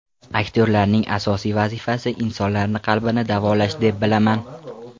Aktyorlarning asosiy vazifasi insonlarni qalbini davolash deb bilaman.